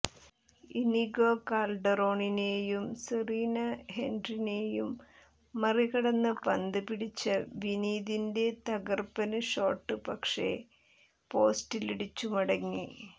Inigo കാല്ഡെറോണിനെയും സെറിനെ ഹെന്റിക്കിനെയും മറികടന്ന് പന്ത് പിടിച്ച വിനീതന്റെ തകര്പ്പന് ഷോട്ട് പക്ഷേ പോസ്റ്റിലിടിച്ചു മടങ്ങി